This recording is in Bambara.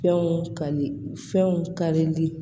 Fɛnw ka di fɛnw karili